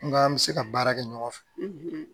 N ka an bɛ se ka baara kɛ ɲɔgɔn fɛ